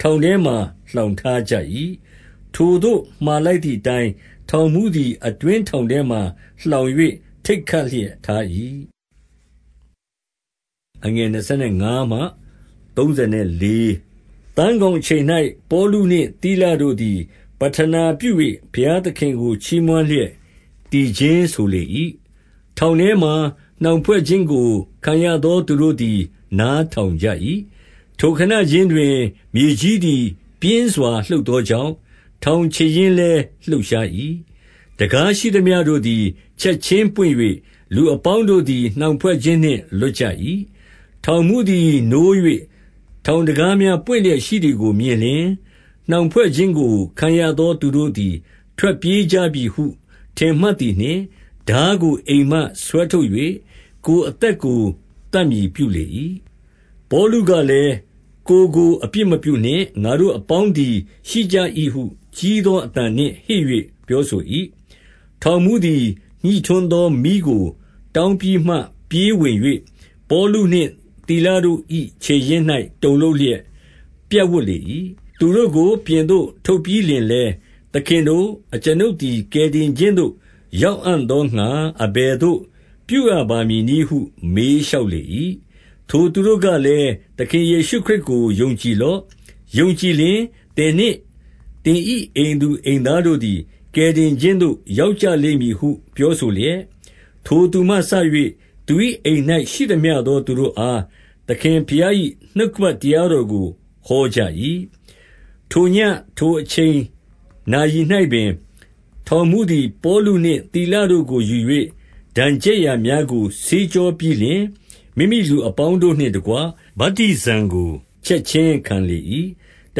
ထောင်ထဲမှာ လှောင်ထား ကြ၏။ 24 ထိုသို့မှာလိုက်သည်အတိုင်း ထောင်မှူးသည် အတွင်း ထောင်ထဲမှာ လှောင်၍ ထိတ်ခတ်လျက်ထား၏။ 25 သန်းခေါင်အချိန်၌ ပေါလုနှင့်သိလတို့သည် ပဌနာပြု၍ ဘုရားသခင်ကို ချီးမွမ်းလျက်သီခြင်း ဆိုလေ၏။ ထောင်ထဲမှာ နှောင်ဖွဲ့ခြင်း ကိုခံရသော သူတို့သည် နားထောင်ကြ၏။ 26 ထိုခဏခြင်းတွင် မြေကြီးသည်ပြင်းစွာ လှုပ်သောကြောင့် ထောင်ခြေရင်းလည်းလှုပ်ရှား၏။ တံခါးရှိသမျှတို့သည် ချက်ခြင်းပွင့်၍ လူအပေါင်းတို့သည် နှောင်ဖွဲ့ခြင်းနှင့်လွတ်ကြ၏။ 27 ထောင်မှူးသည်နိုး၍ ထောင်တံခါးများ ပွင့်လျက်ရှိသည်ကို မြင်လျှင်၊ နှောင်ဖွဲ့ခြင်းကို ခံရသော သူတို့သည် ထွက်ပြေးကြပြီဟု ထင်မှတ်သည်နှင့်၊ ထားကို အိမ်မှဆွဲထုတ်၍ ကိုယ်အသက်ကိုသတ်မည် ပြုလေ၏။ 28 ပေါလုကလည်း၊ ကိုယ်ကိုအဖြစ်မပြုနှင့်။ ငါတို့ အပေါင်းသည် ရှိကြ၏ဟုကြီးသောအသံနှင့် ဟစ်၍ ပြောဆို၏။ 29 ထောင်မှူးသည် ညှိထွန်းသောမီးကို တောင်းပြီး မှ ပြေးဝင်၍၊ ပေါလုနှင့် သိလတို့၏ခြေရင်း၌ တုန်လှုပ် လျက် ပြပ်ဝပ်လေ၏။ 30 သူတို့ကို ပြင်သို့ထုတ်ပြီးလျှင်လည်း၊ သခင်တို့၊ အကျွန်ုပ်သည် ကယ်တင်ခြင်းသို့ရောက်အံ့သောငှါ အဘယ်သို့ပြုရပါမည်နည်းဟု မေးလျှောက်လေ၏။ 31 ထိုသူတို့ကလည်း၊ သခင်ယေရှုခရစ်ကို ယုံကြည်လော့။ ယုံကြည်လျှင်သင်နှင့်သင်၏အိမ်သူ အိမ်သား တို့သည် ကယ်တင်ခြင်းသို့ ရောက်ကြလိမ့်မည်ဟု ပြောဆိုလျက်၊ 32 ထိုသူမှစ၍ သူ၏အိမ်၌ရှိသမျှသော သူတို့အား သခင်ဘုရား၏ နှုတ်ကပတ်တရားတော်ကို ဟောကြ၏။ 33 ထိုညဉ့်၊ ထိုအချိန်နာရီ၌ပင်၊ ထောင်မှူးသည် ပေါလုနှင့်သိလ တို့ကိုယူ၍ဒဏ်ချက်ရာများကို ဆေး ကြောပြီးလျှင်၊ မိမိလူအပေါင်းတို့နှင့် တကွဗတ္တိဇံကို ချက်ခြင်းခံလေ၏။ 34 တ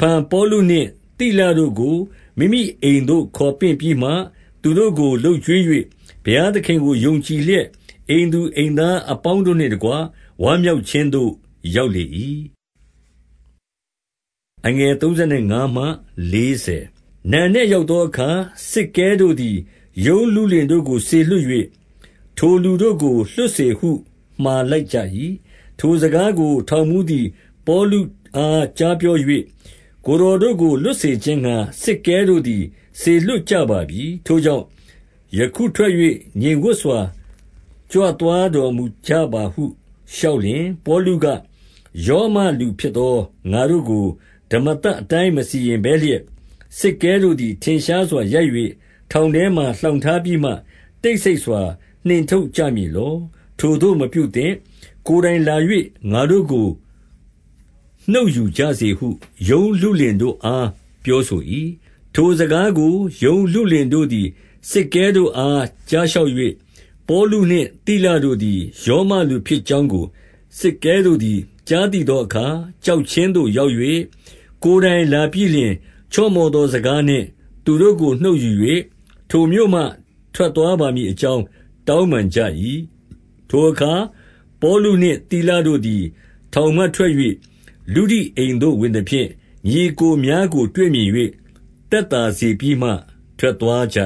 ဖန်ပေါလုနှင့် သိလတို့ကို မိမိအိမ်သို့ ခေါ်ပင့်ပြီးမှ သူတို့ကို လုပ်ကျွေး၍၊ ဘုရားသခင်ကို ယုံကြည်လျက် အိမ်သူအိမ်သားအပေါင်းတို့နှင့်တကွ ဝမ်းမြောက်ခြင်းသို့ရောက်လေ၏။ 35 နံနက်ရောက်သောအခါစစ်ကဲတို့သည် ရုံလုလင်တို့ကို စေလွှတ်၍၊ ထိုလူတို့ကို လွှတ်စေ ဟုမှာလိုက်ကြ၏။ 36 ထိုစကားကိုထောင်မှူးသည် ပေါလုအား ကြားပြော၍၊ ကိုယ်တော်တို့ကို လွှတ်စေခြင်းငှါ စစ်ကဲ တို့သည် စေလွှတ်ကြပါပြီ။ ထိုကြောင့်ယခုထွက်၍ ငြိမ်ဝပ်စွာ ကြွသွားတော်မူကြပါဟု လျှောက်လျှင်၊ 37 ပေါလုက၊ ရောမလူဖြစ်သော ငါတို့ကို ဓမ္မသတ်အတိုင်း မစီရင်ဘဲလျက်၊ စစ်ကဲတို့သည် ထင်ရှား စွာ ရိုက်၍ ထောင်ထဲမှာ လှောင်ထားပြီးမှ၊ တိတ် ဆိတ်စွာနှင့် ထုတ်ကြမည်လော။ ထိုသို့မပြုသင့်။ ကိုယ်တိုင်လာ၍ ငါတို့ကို နှုတ်ယူကြစေဟု ရုံးလုလင်တို့ အားပြောဆို၏။ 38 ထိုစကားကိုရုံးလုလင်တို့သည် စစ်ကဲတို့အား ကြားလျှောက်၍၊ ပေါလုနှင့်သိလတို့သည် ရောမလူ ဖြစ်ကြောင်းကို စစ်ကဲတို့သည် ကြားသိသောအခါ ကြောက်ခြင်းသို့ရောက်၍၊ 39 ကိုယ်တိုင်လာပြီးလျှင် ချော့မော့သောစကားနှင့် သူတို့ကို နှုတ်ယူ၍၊ ထိုမြို့မှထွက်သွားပါမည် အကြောင်း တောင်းပန်ကြ၏။ 40 ထိုအခါ ပေါလုနှင့် သိလတို့သည် ထောင်မှ ထွက်၍ လုဒိအိမ်သို့ ဝင်သဖြင့်၊ ညီအစ်ကိုများကို တွေ့မြင်၍ သက်သာစေပြီးမှထွက်သွား ကြ